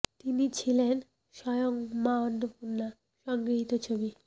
তিনি ছিলেন স্বয়ং মা অন্নপূর্ণা সংগৃহীত ছবি